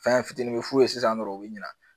Fɛn fitinin bɛ f'u ye sisan dɔrɔn u bɛ ɲina